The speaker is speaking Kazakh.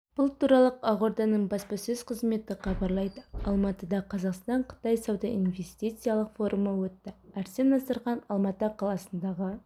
бұл туралы ақорданың баспасөз қызметі хабарлайды алматыда қазақстан-қытай сауда-инвестициялық форумы өтті арсен насырханов алматы қаласындағы